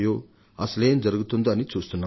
అసలేం జరుగుతుందో అని చూస్తున్నాం